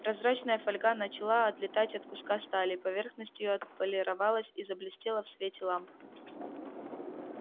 прозрачная фольга начала отлетать от куска стали поверхность её отполировалась и заблестела в свете ламп